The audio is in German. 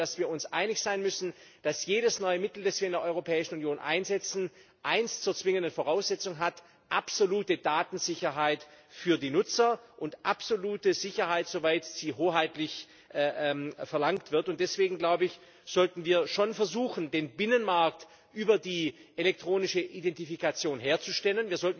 Aber ich glaube, dass wir uns einig sein müssen, dass jedes neue Mittel, das wir in der Europäischen Union einsetzen, eins zur zwingenden Voraussetzung hat absolute Datensicherheit für die Nutzer und absolute Sicherheit, soweit sie hoheitlich verlangt wird. Deswegen sollten wir schon versuchen, den Binnenmarkt über die elektronische Identifikation herzustellen.